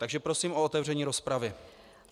Takže prosím o otevření rozpravy.